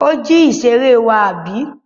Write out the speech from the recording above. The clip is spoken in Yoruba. Ó jí ìṣeré wa, àbí?